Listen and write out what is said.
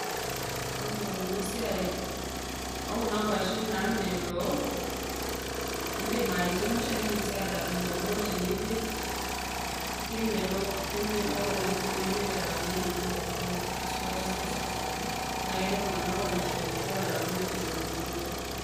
Ore ena siai oo kuna kuashen naamelok idim ai chemsha nidim sii atapejo. Amu ore tenipej kemelok kemelok oleng tenipeny alang tenintokitokie amu keeta esukari sapuk. Naa ketii iltung`anak oonyor epejo alang`u itokitokieki.